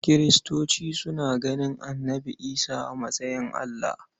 Kiristoci suna ganin Annabi Isa a matsayin Allah.